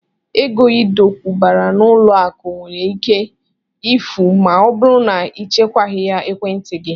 Ego Ị dokwubara n'ụlọakụ nwere ike ifu ma ọ bụrụ na ị chekwaghị ekwentị gị